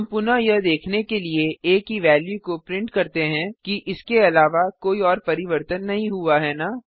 हम पुनः यह देखने के लिए आ की वेल्यू को प्रिंट करते हैं कि इसके अलावा कोई और परिवर्तन नहीं हुआ है न